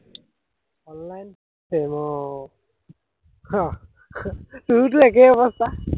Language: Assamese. অনলাইন প্ৰেম আহ তোৰোতো একেই অৱস্থা